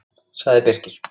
sagði Birkir.